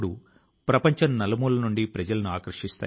ఇందుకు అరుణాచల్ ప్రజల ను ప్రశంసిస్తున్నాను